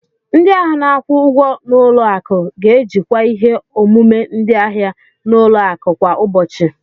Ndị ahụ na-akwụ ụgwọ n'ụlọ akụ ga-ejikwa ihe omume ndị ahịa n'ụlọ akụ kwa ụbọchị.